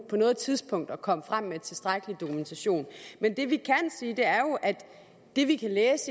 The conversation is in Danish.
på noget tidspunkt at komme frem med tilstrækkelig dokumentation men det vi